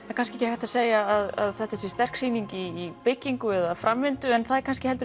er kannski ekki hægt að segja að þetta sé sterk sýning í byggingu eða framvindu en það er kannski